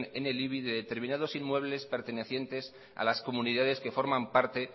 en el ibi de determinados inmuebles pertenecientes a las comunidades que forman parte